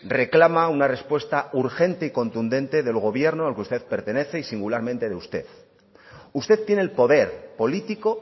reclama una respuesta urgente y contundente del gobierno al que usted pertenece y singularmente de usted usted tiene el poder político